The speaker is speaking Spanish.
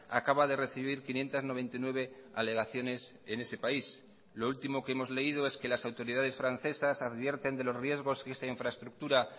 acaba de recibir quinientos noventa y nueve alegaciones en ese país lo último que hemos leído es que las autoridades francesas advierten de los riesgos que esta infraestructura